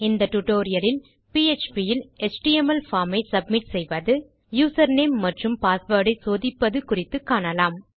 இந்த டியூட்டோரியல் லில் பிஎச்பி இல் எச்டிஎம்எல் பார்ம் ஐ சப்மிட் செய்வது யூசர் நேம் மற்றும் பாஸ்வேர்ட் ஐ சோதிப்பது குறித்து காணலாம்